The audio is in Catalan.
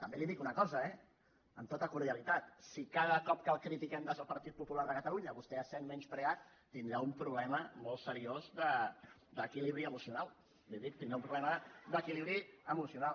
també li dic una cosa eh amb tota cordialitat si cada cop que el critiquem des del partit popular de catalunya vostè es sent menyspreat tindrà un problema molt seriós d’equilibri emocional li ho dic tindrà un problema d’equilibri emocional